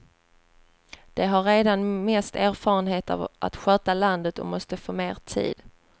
De har redan mest erfarenhet av att sköta landet och måste få mer tid.